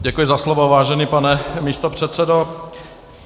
Děkuji za slovo, vážený pane místopředsedo.